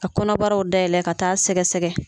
Ka kɔnɔbaraw dayɛlɛ ka taa sɛgɛ sɛgɛ.